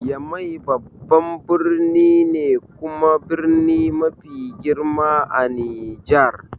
Yamai babban birni ne kuma birni mafi girma a Nijar.